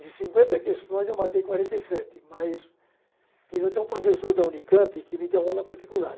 De cinquenta questões, eu matei quarenta e sete, mas tive até um professor da UNICAMP que me deu aula particular.